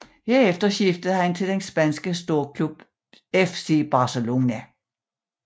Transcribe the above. Herefter skiftede han til den spanske storklub FC Barcelona